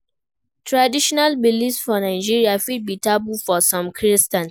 Traditional beliefs for Nigeria fit be taboo for some christians